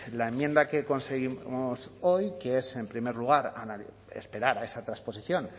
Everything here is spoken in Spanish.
la enmienda que conseguimos hoy que es en primer lugar esperar a esa transposición